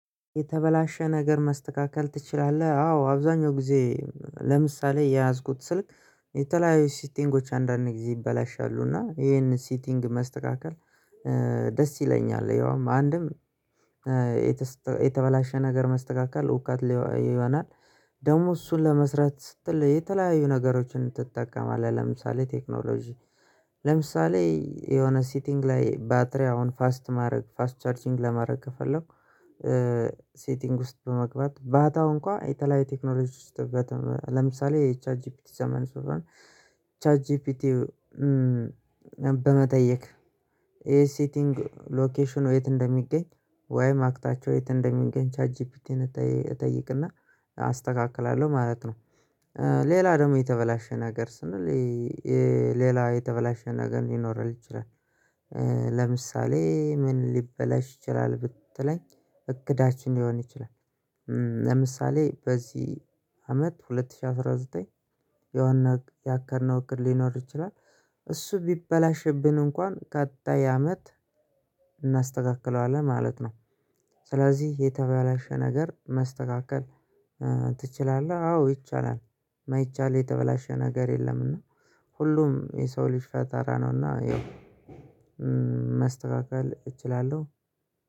የተበላሸ ነገር መስተካከል ትችላለህ? አዎ አብዛኛው ጊዜ ለምሳሌ የያዝኩት ስልክ የተለያዩ ሲቲንጎች አንዳንዴ ጊዜ ይበላሻሉ እና ይሄንን ሲቲንግ መስተካከል ደስ ይለኛል። ያውም አንድም የተበላሸ ነገር መስተካከል እውቅት ይሆናል። ደግሞ እሱን ለመስራት ስትል የተለያየ ነገሮችን ትጠቀማለህ። ለምሳሌ ቴክኖሎጂ ለምሳሌ የሆነ ሲቲንግ ላይ ባትሪ አሁን ፋስት ማድረግ ፋስት ቻርጂንግ ለማድረግ ከፈለኩ። ሲቲንግ ውስጥ በመግባት ባጣው እንኳን የተለያየ ቴክኖሎጂ ውስጥ በጣም ለምሳሌ የቻት ጂፒቲ ዘመን ሰለሆነ ቻት ጂፒቲ። በመጠየቅ ይሄ ሲቲንግ ሎኬሽን ወይት እንደሚገኝ ወይም አክጣቸው የት እንደሚገኝ ቻት ጂፒቲን እጠይቅና አስተካክላለሁ። ማለት ነው ሌላ ደግሞ የተበላሸ ነገር ስንል ሌላ የተበላሸ ነገር ሊኖር ይችላል። ለምሳሌ ምን ሊበላሽ ይችላል ብትለኝ እግዳችን ሊሆን ይችላል። ለምሳሌ በዚህ አመት ሁለት ሽህ አስራ ዘጠኝ የሆነ ያቀድነው እቅድ ሊኖር ይችላል። እሱ ቢበላሽብን እንኳን ቀጣይ አመት እናስተካክለዋለን ማለት ነው። ስለዚህ የተባለሽ ነገር መስተካከል ትችላለህ አዎ ይቻላል። ማይቻል የተበላሸ ነገር የለም እና ሁሉም የሰው ልጅ ፈጠራ ነው። እና ያው ማስተካከል እችላለሁ።